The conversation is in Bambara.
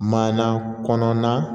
Maana kɔnɔna